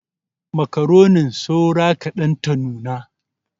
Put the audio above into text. Makaronin saura kaɗan ta nuna.